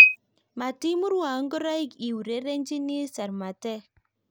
matimurwon ngoroik I urerenjini sarmatek